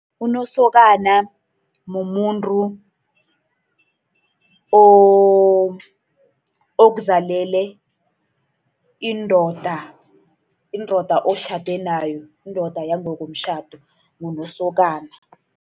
Unosokana mumuntu okuzalele indoda, indoda otjhade nayo, indoda yangokomtjhado. Ngunosokana.